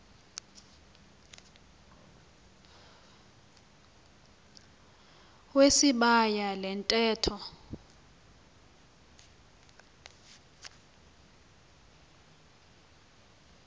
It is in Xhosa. wesibaya le ntetho